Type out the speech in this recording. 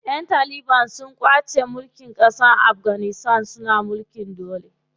Ƴan taliban su ƙwace ƙasar Afganistan suna mulkin dole.